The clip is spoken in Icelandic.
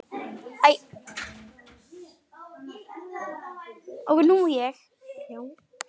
Ertu Lísibet eða Þóra?